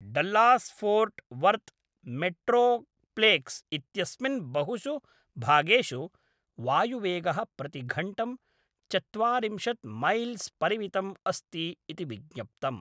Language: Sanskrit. डल्लास् फ़ोर्ट् वर्थ् मेट्रोप्लेक्स् इत्यस्मिन् बहुषु भागेषु वायुवेगः प्रतिघण्टं चत्वारिंशत् मैल्स् परिमितम् अस्ति इति विज्ञप्तम्।